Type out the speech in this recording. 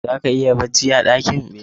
Zaka iya bacci a dakin